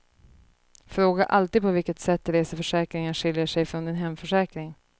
Fråga alltid på vilket sätt reseförsäkringen skiljer sig från din hemförsäkring.